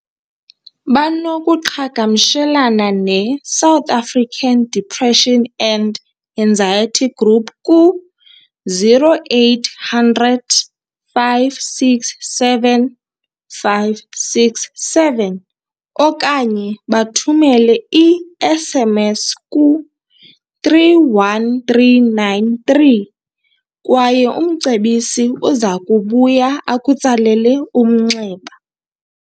Banokuqhagamshelana ne-South African Depression and Anxiety Group, ku-0800 567 567 okanye bathumele i-SMS ku-31393 kwaye umcebisi uzakubuya akutsalele umnxeba.